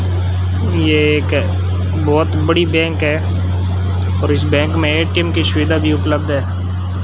ये एक बहोत बड़ी बैंक है और इस बैंक में ए_टी_एम की सुविधा भी उपलब्ध है।